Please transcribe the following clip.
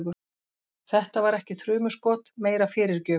Þetta var ekki þrumuskot, meira fyrirgjöf.